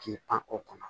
K'i pan o kɔnɔ